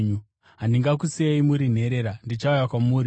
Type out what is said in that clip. Handingakusiyei muri nherera; ndichauya kwamuri.